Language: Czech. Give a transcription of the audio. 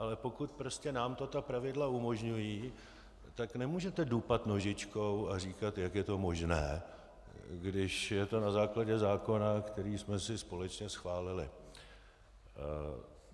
Ale pokud prostě nám to ta pravidla umožňují, tak nemůžete dupat nožičkou a říkat, jak je to možné, když je to na základě zákona, který jsme si společně schválili.